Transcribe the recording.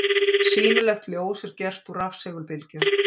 Sýnilegt ljós er gert úr rafsegulbylgjum.